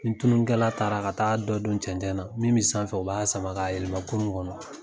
Ni tununikɛla taara ka taa da don cɛnɛn na, min be sanfɛ o b'a sama ka yelema kurun kɔnɔ.